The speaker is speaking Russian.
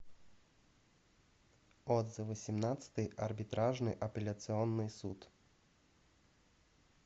отзывы семнадцатый арбитражный апелляционный суд